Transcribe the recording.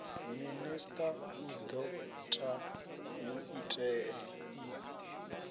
minista u do ta maiteie